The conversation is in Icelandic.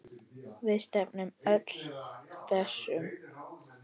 Við stefnum öllum þessum